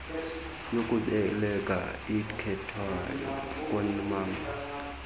yokubeleka ikhethwayo koomama